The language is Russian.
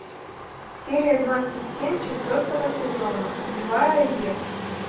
серия двадцать семь четвертого сезона убивая еву